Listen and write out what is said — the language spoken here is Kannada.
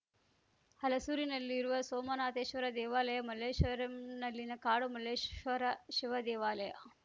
ಹಲಸೂರಿನಲ್ಲಿರುವ ಸೋಮನಾಥೇಶ್ವರ ದೇವಾಲಯ ಮಲ್ಲೇಶ್ವರಂನಲ್ಲಿನ ಕಾಡು ಮಲ್ಲೇಶ್ವರ ಶಿವದೇವಾಲಯ